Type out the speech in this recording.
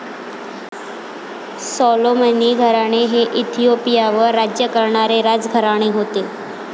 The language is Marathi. सॉलोमनी घराणे हे इथिओपियावर राज्य करणारे राजघराणे होते.